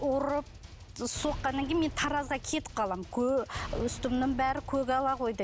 ұрып соққаннан кейін мен таразға кетіп қаламын үстімнің бәрі көгала қойдай